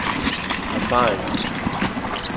erfaringer